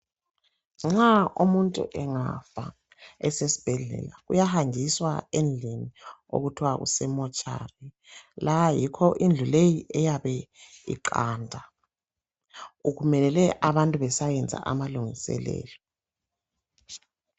Nxa umuntu engafa esesibhedlela uyahanjiswa endlini okuthwa kuse mortuary. La yikho indlu leyi eyabe iqanda kumelele abantu besayenza amalungiselelo